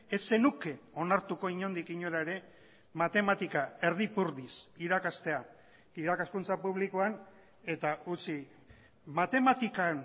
ez zenuke onartuko inondik inora ere matematika erdi ipurdiz irakastea irakaskuntza publikoan eta utzi matematikan